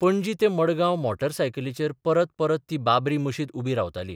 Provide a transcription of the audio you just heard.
पणजी ते मडगांव मोटारसायकलीचेर परत परत ती बाबरी मशीद उबी रावताली.